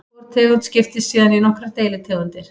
Hvor tegund skiptist síðan í nokkrar deilitegundir.